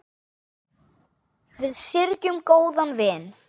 Við syrgjum góðan vin.